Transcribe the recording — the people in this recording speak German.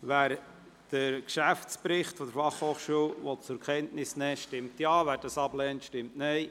Wer den Geschäftsbericht der BFH zur Kenntnis nehmen will, stimmt Ja, wer dies ablehnt, stimmt Nein.